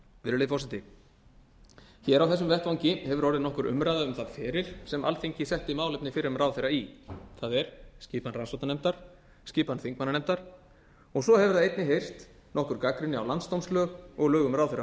virðulegi forseti hér á þessum vettvangi hefur orðið nokkur umræða um þann feril sem alþingi setti málefni fyrrum ráðherra í það er skipan rannsóknarnefndar skipan þingmannanefndar og svo hefur einnig heyrst nokkur gagnrýni á landsdómslög og lög um